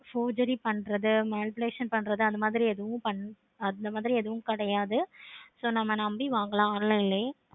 surgery பண்றது manipulation அந்த மாதிரி எதுவும் பண்றது அந்த மாதிரி எதுவும் பண்ண கூடாது. so நம்ம நம்பி வாங்கலாம்.